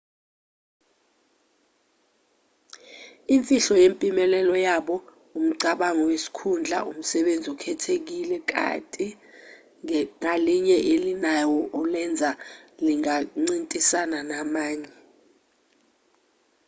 imfihlo yempumelelo yabo umcabango wesikhundla umsebenzi okhethekile ikati ngalinye elinawo olenza lingancintisani namanye